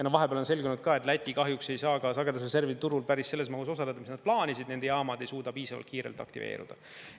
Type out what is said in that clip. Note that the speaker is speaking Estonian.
Ja vahepeal on selgunud ka, et Läti kahjuks ei saa sagedusreservide turul päris selles mahus osaleda, mis nad plaanisid, nende jaamad ei suuda piisavalt kiirelt aktiveerida.